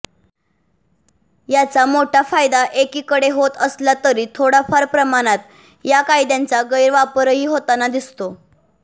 याचा मोठा फायदा एकीकडं होत असला तरी थोडाफार प्रमाणात या कायद्याचा गैरवापरही होताना दिसतो